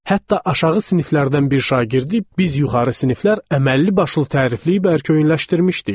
Hətta aşağı siniflərdən bir şagirdi biz yuxarı siniflər əməlli başlı tərifləyib ərköyünləşdirmişdik.